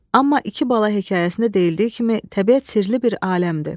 Amma iki bala hekayəsində deyildiyi kimi təbiət sirli bir aləmdir.